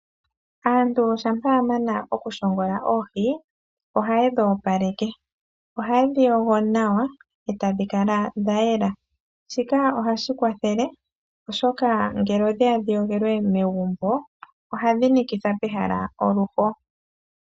Aantu shampa ya mana oku shongola oohi? Oha yedhi opaleke, oha yedhi yogo nawa eta dhi kala dha yela shi ka ohashi kwathele oshoka ngele odheya dhi yogelwe megumbo ohadhi nikitha pehala oluho.